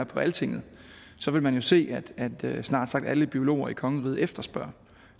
på altinget vil man jo se at snart sagt alle biologer i kongeriget efterspørger